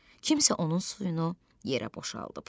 Kimsə onun suyunu yerə boşaldıb.